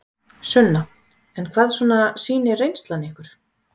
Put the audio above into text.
Sunna: En hvað svona sýnir reynslan ykkur?